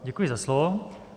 Děkuji za slovo.